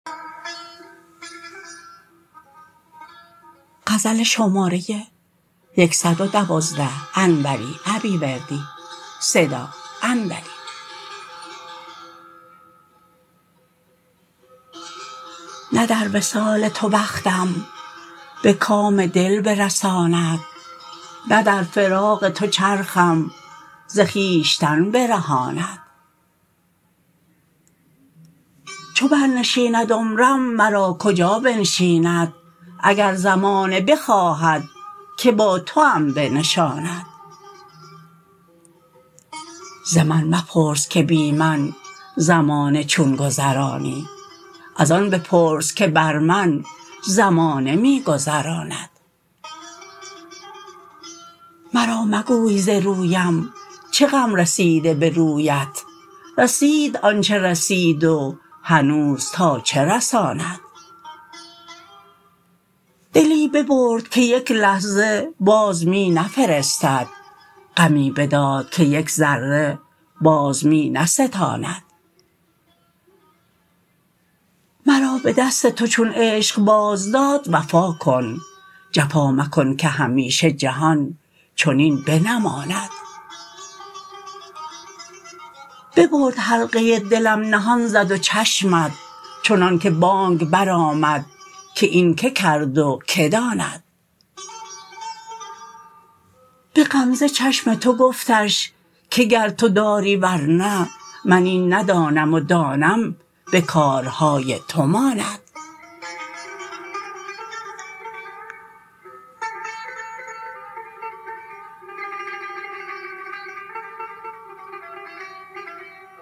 نه در وصال تو بختم به کام دل برساند نه در فراق تو چرخم ز خویشتن برهاند چو برنشیند عمرم مرا کجا بنشیند اگر زمانه بخواهد که با توام بنشاند زمن مپرس که بی من زمانه چون گذرانی از آن بپرس که بر من زمانه می گذراند مرا مگوی ز رویم چه غم رسیده به رویت رسید آنچه رسید و هنوز تا چه رساند دلی ببرد که یک لحظه باز می نفرستد غمی بداد که یک ذره باز می نستاند مرا به دست تو چون عشق باز داد وفا کن جفا مکن که همیشه جهان چنین بنماند ببرد حلقه زلفت دلم نهان زد و چشمت چنان که بانگ برآمد که این که کرد و که داند به غمزه چشم تو گفتش که گر تو داری ورنه من این ندانم و دانم به کارهای تو ماند